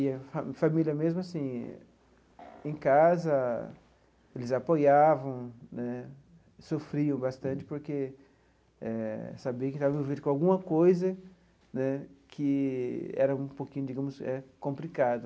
E a fa família, mesmo assim, em casa, eles apoiavam né, sofriam bastante porque eh sabia que estava vindo com alguma coisa né que era um pouquinho, digamos, era complicado.